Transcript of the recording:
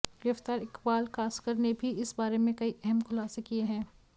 गिरफ्तार इक़बाल कासकर ने भी इस बारे में कई अहम खुलासे किए हैं